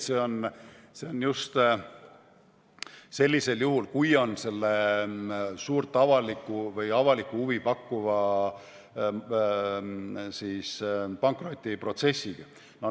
See on just sellisel juhul, kui on tegemist suurt avalikku huvi pakkuva pankrotiprotsessiga.